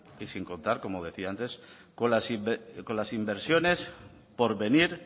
y sin contar como decía antes con las inversiones por venir